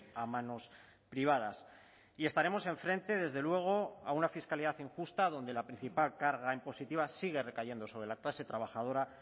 a manos privadas y estaremos enfrente desde luego a una fiscalidad injusta donde la principal carga impositiva sigue recayendo sobre la clase trabajadora